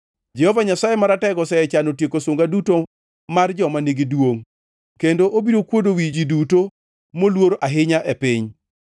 Jehova Nyasaye Maratego osechano tieko sunga duto mar joma nigi duongʼ kendo obiro kuodo wi ji duto moluor ahinya e piny.